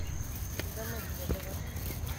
домодедово